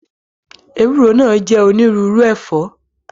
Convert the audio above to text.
Ewúro náà jẹ́ onírúurú ẹ̀fọ́